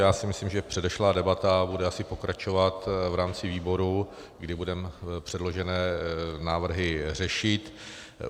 Já si myslím, že předešlá debata bude asi pokračovat v rámci výboru, kdy budeme předložené návrhy řešit.